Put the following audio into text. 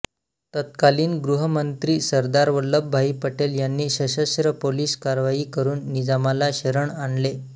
तत्कालीन गृहमंत्री सरदार वल्लभभाई पटेल यांनी सशस्त्र पोलीस कारवाई करून निजामाला शरण आणले